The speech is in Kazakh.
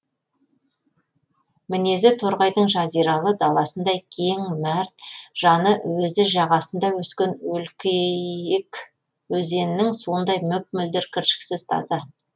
мінезі торғайдың жазиралы даласындай кең мәрт жаны өзі жағасында өскен өлкейік өзенінің суындай мөп мөлдір кіршіксіз таза